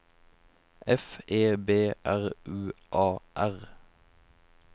F E B R U A R